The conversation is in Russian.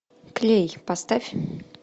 клей поставь